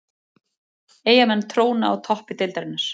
Eyjamenn tróna á toppi deildarinnar